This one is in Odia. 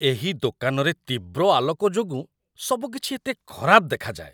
ଏହି ଦୋକାନରେ ତୀବ୍ର ଆଲୋକ ଯୋଗୁଁ ସବୁକିଛି ଏତେ ଖରାପ ଦେଖାଯାଏ